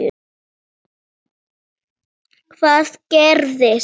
Hvað gerist?